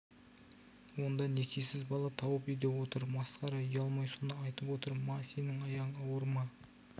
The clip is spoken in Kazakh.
онда некесіз бала тауып үйде отыр масқара ұялмай соны айтып отыр ма сенің аяғың ауыр ма